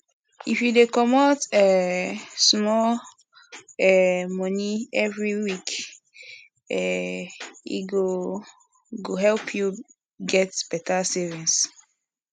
if you dey comot um small um money every week um e go go help you get better savings